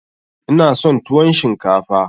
Ina son tuwon shinkafa.